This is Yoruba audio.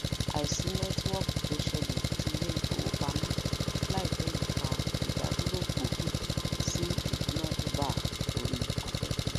àìsí nẹtiwọki tó sẹlẹ ti ile ifowopamo láìpé yìí fà ìdádúró gbóògì sí idunadura ori aféfé